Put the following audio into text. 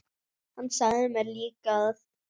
Hann sagði mér líka að